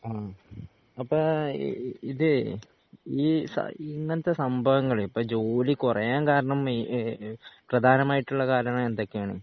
ആം അപ്പോ ഇഹ് ഇതേ ഈ സ ഇങ്ങനത്തെസംഭവങ്ങള് ഇപ്പോ ജോലികുറയാൻ കാരണം ഇഏഹ് പ്രധാനമായിട്ടുള്ളകാരണം എന്തൊക്കെയാണ്?